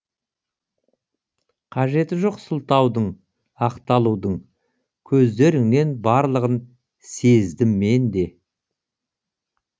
қажеті жоқ сылтаудың ақталудың көздеріңнен барлығын сездім менде